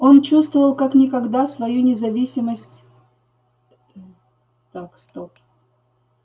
он чувствовал как никогда свою не зависимость мм так стоп